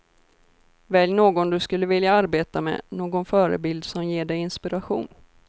Välj någon du skulle vilja arbeta med, någon förebild som ger dig inspiration.